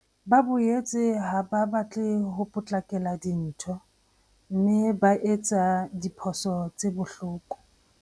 Ba boetse ha ba batle ho potlakela dintho mme ba etse diphoso tse bohloko.